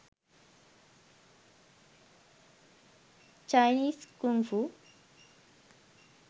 chinese kung fu